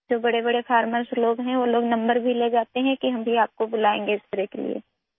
جو بڑے کسان ہیں نمبر لے جاتے ہیں کہ ہم بھی آپ کو اسپرے کے لیے بلا ئیں گے